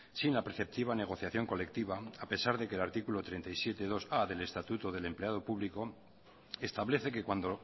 sin la perceptiva negociación colectiva a pesar del artículo treinta y siete punto dos a del estatuto del empleado público establece que cuando